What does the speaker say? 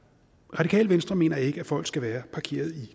radikale venstre mener ikke at folk skal være parkeret i